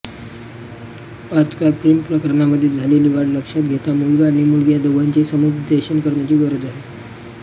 आजकाल प्रेमप्रकरणांमध्ये झालेली वाढ लक्षात घेता मुलगा आणि मुलगी या दोघांचेहि समुपदेशन करण्याची गरज आहे